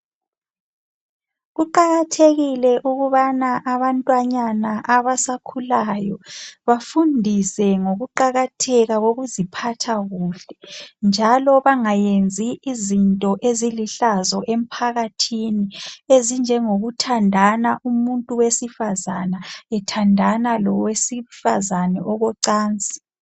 Kuqakathekile ukubana abantwanyana abasakhulayo bafundiswe ngokuqakatheka kokuziphatha kuhle, njalo bangayenzi izinto ezilihlazo emphakathini ezinjengokuthandana umuntu wesifazana ethandana lowesifazana okocansi.